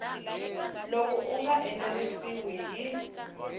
loko u nga enerisiwi hi